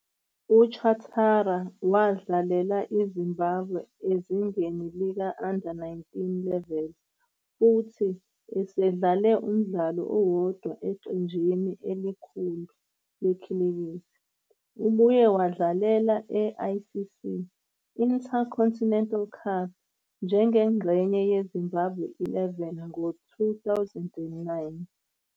UChatara wadlalela iZimbabwe ezingeni lika-U-19 Level futhi usedlale umdlalo owodwa eqenjini elikhulu lekhilikithi. Ubuye wabadlalela e-ICC Intercontinental Cup njengengxenye yeZimbabwe XI ngo-2009.